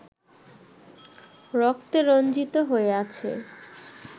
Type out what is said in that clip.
রক্তে রঞ্জিত হয়ে আছে